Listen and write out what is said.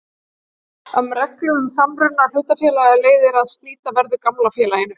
Af reglum um samruna hlutafélaga leiðir að slíta verður gamla félaginu.